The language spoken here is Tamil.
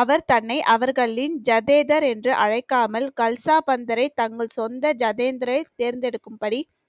அவர் தன்னை அவர்களின் ஜதேதர் என்று அழைக்காமல் கல்சாபந்தரை தங்கள் சொந்த ஜதேந்தரை தேர்ந்தெடுக்கும்படி